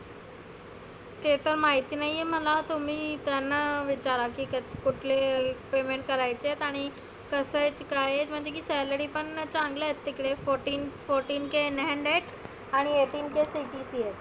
ते तर माहिती नाहीए मला तुम्ही त्यांना विचारा की क कुठले payment करायचे आहेत आणि कसं आहे काय आहेत. म्हणजे की salary पण चांगल्या आहेत तीकडे fourteen forteen k in hand आहेत. आणि egihteen kCTC आहे.